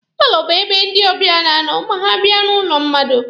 Paalọ bụ ebe ndị ọbịa na-anọ ma ha bịa n'ụlọ mmadụ.